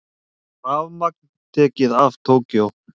Rafmagn tekið af Tókýó